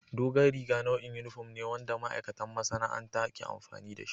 Dogon riga nau'in yunifom ne wanda ma'aikatan masana'anta ke amfani da shi.